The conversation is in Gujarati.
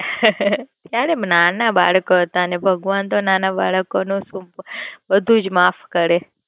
ત્યારે નાના બાલકો હતા ને ભગવાન તો નાના બાલકો નો બધું જ માફ કરે.